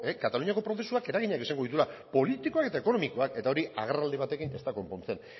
kataluniako prozesuak eraginak izango dituela politikoak eta ekonomikoak eta hori agerraldi batekin ez da konpontzen